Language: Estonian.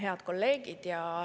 Head kolleegid!